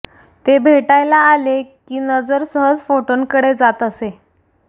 ते भेटायला आले की नजर सहज फोटोंकडे जात असे